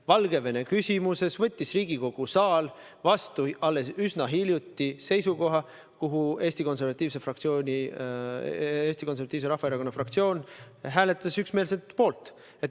Valgevene küsimuses võttis Riigikogu saal alles üsna hiljuti vastu seisukoha ja Eesti Konservatiivse Rahvaerakonna fraktsioon hääletas üksmeelselt selle poolt.